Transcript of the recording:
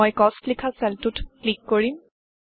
মই কষ্ট মূল্য লিখা চেলটোত ক্লিক কৰিম